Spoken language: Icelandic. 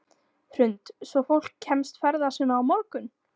Hrund: Svo fólk kemst ferða sinna á morgun?